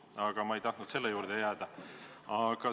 Aga ma ei tahtnud selle teema juurde jääda.